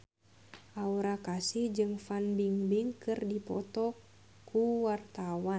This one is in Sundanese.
Aura Kasih jeung Fan Bingbing keur dipoto ku wartawan